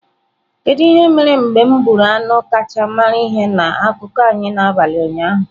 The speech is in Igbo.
Kedu ihe mere mbe bụrụ anụ kacha mara ihe na akụkọ anyị n'abalị ụnyaahụ?